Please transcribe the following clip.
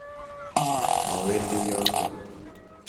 Mawendi yoto.